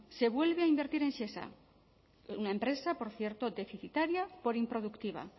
se vuelve a invertir en shesa una empresa por cierto deficitaria por improductiva